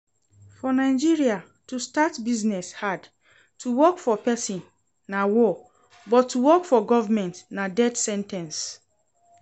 For Nigeria, to start business hard, to work for person na war but to work for government na death sen ten ce